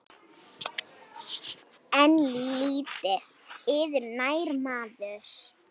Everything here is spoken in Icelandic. En lítið yður nær maður.